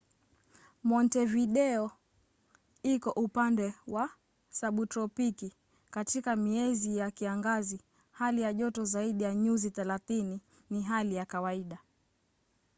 montevideo iko upande wa sabutropiki; katika miezi ya kiangazi hali ya joto zaidi ya +30ºc ni hali ya kawaida